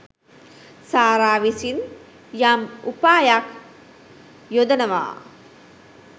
සාරා විසින් යම් උපායක් යොදනවා.